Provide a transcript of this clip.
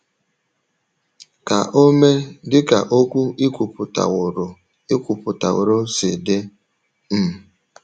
Ka o mee dị ka okwu i kwupụtaworo i kwupụtaworo si dị. ” um